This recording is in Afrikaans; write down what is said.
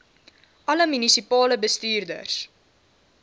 alle munisipale bestuurders